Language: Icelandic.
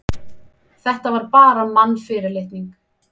Þetta var bara mannfyrirlitning.